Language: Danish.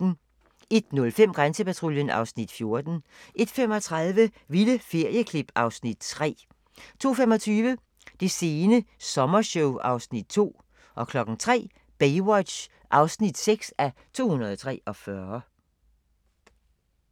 01:05: Grænsepatruljen (Afs. 14) 01:35: Vilde ferieklip (Afs. 3) 02:25: Det sene sommershow (Afs. 2) 03:00: Baywatch (6:243)